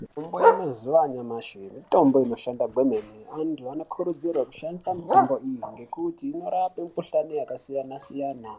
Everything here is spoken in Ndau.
Mitombo yemazuwa anyamashi mitombo inoshanda kwemene antu anokurudzirwe kushandise mitombo iyi ngekuti inorape mikhuhlani yakasiyanasiyana